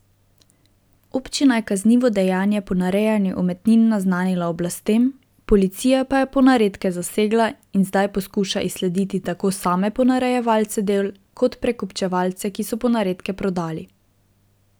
Občina je kaznivo dejanje ponarejanja umetnin naznanila oblastem, policija pa je ponaredke zasegla in zdaj poskuša izslediti tako same ponarejevalce del kot prekupčevalce, ki so ponaredke prodali.